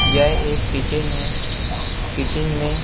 यह एक किचन है। किचन में--